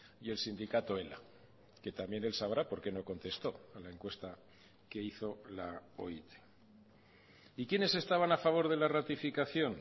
y el sindicato ela que también el sabrá porque no contesto a la encuesta que hizo la oit y quiénes estaban a favor de la ratificación